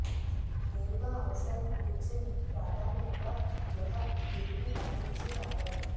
నేరుగా అవసరం కూర్చుని ప్రాధాన్యంగా గృహ తిరిగి తన కుర్చీ తాకడం